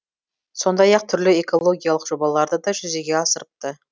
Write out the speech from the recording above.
сондай ақ түрлі экологиялық жобаларды да жүзеге асырыпты